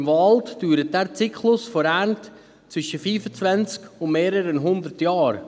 Im Wald dauert dieser Zyklus bis zur Ernte zwischen fünfundzwanzig und mehreren hundert Jahren.